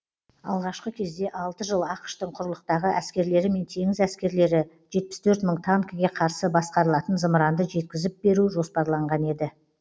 алғашқы кезде алты жыл ақш тың құрлықтағы әскерлері мен теңіз әскерлері жетпіс төрт мың танкіге қарсы басқарылатын зымыранды жеткізіп беру жоспарланған еді